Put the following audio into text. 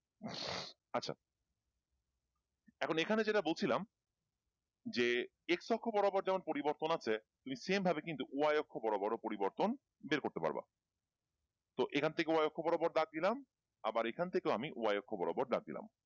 এখন এখানে যেটা বলছিলাম যে x অক্ষ বরাবর যেমন পরিবর্তন আছে তুমি same ভাবে কিন্তু y অক্ষ বরাবর ও পরিবর্তন বের করতে পারবা তো এখান থেকে y অক্ষ বরাবর দাগ দিলাম আবার এখান থেকেও আমি y অক্ষ বরাবর দাগ দিলাম।